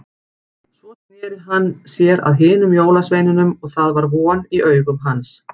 Svo sneri hann sér að hinum jólasveinunum og það var von í augum hans.